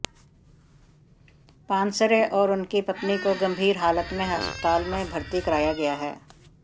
पानसरे और उनकी पत्नी को गंभीर हालत में अस्पताल में भर्ती कराया गया है